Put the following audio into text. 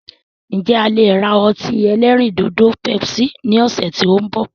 Ǹ jẹ̀ a lè ra ọtí ẹlẹ́rìndòdò "Pepsi" ni ọ̀sẹ̀ tí òun bọ̀.